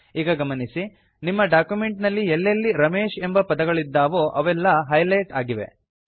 ಈಗ ಗಮನಿಸಿ ನಿಮ್ಮ ಡಾಕ್ಯುಮೆಂಟ್ ನಲ್ಲಿ ಎಲ್ಲೆಲ್ಲಿ ರಮೇಶ್ ಎಂಬ ಪದಗಳಿದ್ದಾವೋ ಅವೆಲ್ಲಾ ಹೈಲೆಟ್ ಆಗಿವೆ